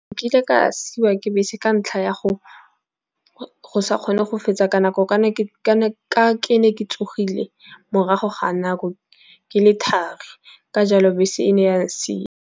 Nkile ka siwa ke bese ka ntlha ya go sa kgone go fetsa ka nako. Ka ne ke ne ke tsogile morago ga nako, ke le thari ka jalo bese e ne ya ntshia.